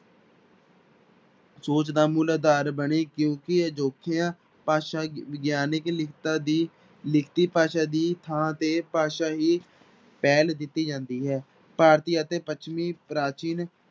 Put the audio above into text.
ਸੋਚ ਦਾ ਮੂਲ ਆਧਾਰ ਬਣੀ ਕਿਉਂਕਿ ਅਜੋਕੀਆਂ ਭਾਸ਼ਾ ਵਿਗਿਆਨਕ ਲਿਖਤਾਂ ਦੀ ਲਿਖਤੀ ਭਾਸ਼ਾ ਦੀ ਥਾਂ ਤੇ ਭਾਸ਼ਾਈ ਪਹਿਲ ਦਿੱਤੀ ਜਾਂਦੀ ਹੈ, ਭਾਰਤੀ ਅਤੇ ਪੱਛਮੀ ਪ੍ਰਾਚੀਨ